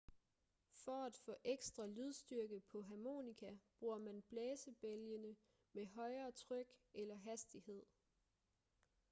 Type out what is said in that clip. for at få ekstra lydstyrke på harmonika bruger man blæsebælgene med højere tryk eller hastighed